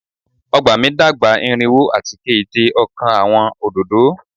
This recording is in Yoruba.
Ọgba mi dagba irinwo ati keje ọkan Awọn ododo